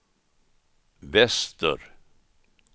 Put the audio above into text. väster